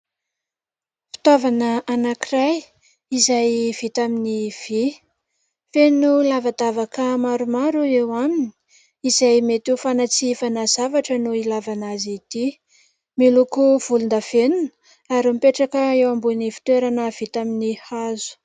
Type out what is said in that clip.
Fitaovana anankiray izay vita amin'ny vy. Feno lavadavaka maromaro eo aminy izay mety ho fanatsifana zavatra no ilavana azy ity. Miloko volon-davenona ary mipetraka eo ambonin'ny fitoerana vita amin'ny hazo.